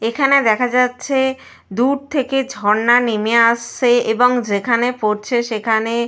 অ্যা ফ্যানা টাইপ -এর উৎপন্ন হচ্ছে। আর ঝর্ণার জলের কালার পুরো ঘোলাটে। দু-ধারে --